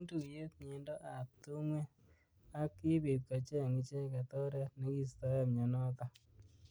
Kiim tuyet mnyendo ab tungwek ak kibit kocheng icheket oret nekiistoei mnyonotok.